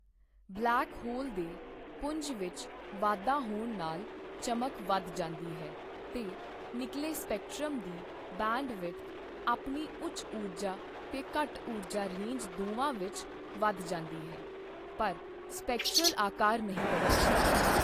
Black hole ਦੇ ਪੁੰਜ ਵਿੱਚ ਵਾਧਾ ਹੋਣ ਨਾਲ ਚਮਕ ਵਧ ਜਾਂਦੀ ਹੈ ਤੇ ਨਿੱਕਲੇ ਸਪੈਕਟ੍ਰਮ ਦੀ ਬੈਂਡਵਿਡਥ ਆਪਣੀ ਉੱਚ ਊਰਜਾ ਤੇ ਘੱਟ ਊਰਜਾ ਰੇਂਜ ਦੋਵਾਂ ਵਿੱਚ, ਵਧ ਜਾਂਦੀ ਹੈ ਪਰ ਸਪੈਕਟਰਲ ਆਕਾਰ ਨਹੀਂ ਬਦਲਦਾ।